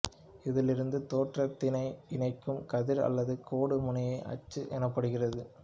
இதில் இருந்து தோற்றத்தினை இணைக்கும் கதிர் அல்லது கோடு முனைய அச்சு எனப்படுகிறது